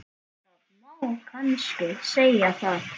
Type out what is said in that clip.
Það má kannski segja það.